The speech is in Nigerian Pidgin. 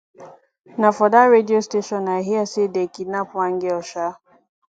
na for dat radio station i hear say dey kidnap one girl um